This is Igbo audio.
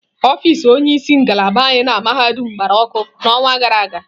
Ọfịs onye isi ngalaba anyị na mahadum gbara ọkụ n'ọnwa gara aga.